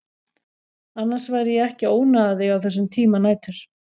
Annars væri ég ekki að ónáða þig á þessum tíma nætur.